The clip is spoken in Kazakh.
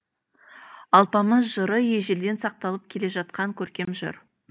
алпамыс жыры ежелден сақталып келе жатқан көркем жыр